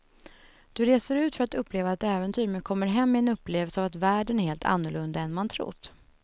Du reser ut för att uppleva ett äventyr men kommer hem med en upplevelse av att världen är helt annorlunda än man trott.